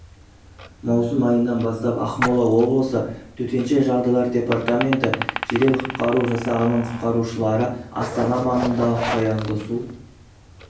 маусым айынан бастап ақмола облысы төтенше жағдайлар департаменті жедел-құтқару жасағының құтқарушылары астана маңындағы қоянды су